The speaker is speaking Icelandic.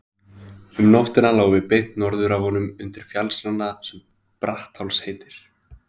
Um nóttina lágum við beint norður af honum undir fjallsrana sem Brattháls heitir.